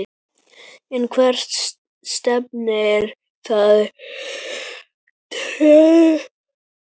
En hvert stefnir þetta trend?